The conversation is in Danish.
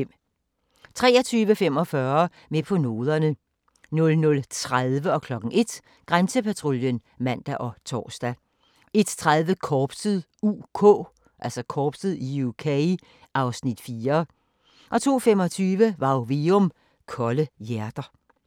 23:45: Med på noderne 00:30: Grænsepatruljen (man og tor) 01:00: Grænsepatruljen (man og tor) 01:30: Korpset (UK) (Afs. 4) 02:25: Varg Veum - Kolde hjerter